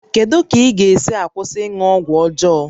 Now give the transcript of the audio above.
Kedu ka ị ga-esi kwụsị ịṅụ ọgwụ ọjọọ?